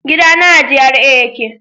gidana a GRA ya ke